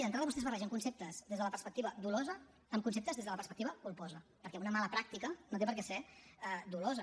d’entrada vostès barregen conceptes des de la perspectiva dolosa amb conceptes des de la perspectiva culposa perquè una mala pràctica no té per què ser dolosa